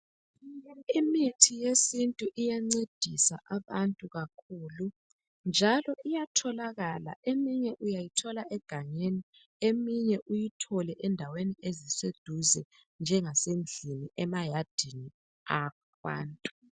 Imithi yesintu iyancedisa abantu kakhulu njalo iyatholakala eminye uyayithola egangeni eminye uyithole endaweni eziseduze njengemayadini abantu.